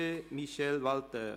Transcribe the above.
Michel Walthert.